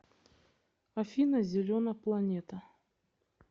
афина зелена планета